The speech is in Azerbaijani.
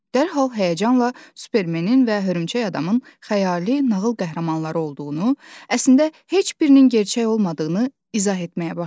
Dərhal həyəcanla Supermenin və Hörümçək-adamın xəyali nağıl qəhrəmanları olduğunu, əslində heç birinin gerçək olmadığını izah etməyə başladı.